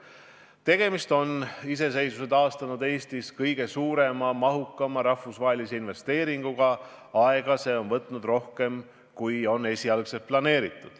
Tegemist on iseseisvuse taastanud Eestis kõige suurema, mahukama rahvusvahelise investeeringuga ja see on võtnud aega rohkem, kui esialgu planeeriti.